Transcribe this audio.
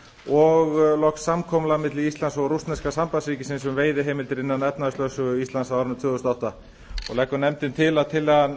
og loks samkomulag milli íslands og rússneska sambandsríkisins um veiðiheimildir innan efnahagslögsögu íslands á árinu tvö þúsund og átta nefndin leggur til að tillagan